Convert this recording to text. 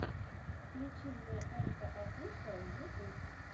включи мне энка офишиал ютюб